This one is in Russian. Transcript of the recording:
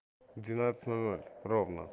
в двенадцать ноль ноль ровно